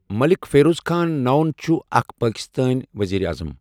ملک فیروز خان نون چھُ اَکھ پٲکِستٲنؠ ؤزیٖرِ اَعظَم۔